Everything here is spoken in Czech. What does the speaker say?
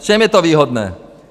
V čem je to výhodné?